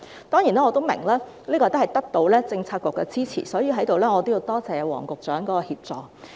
當然，我也明白，這是得到政策局的支持，所以在此我要多謝黃局長的協助。